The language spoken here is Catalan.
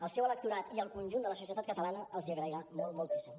el seu electorat i el conjunt de la societat catalana els hi agrairà molt moltíssim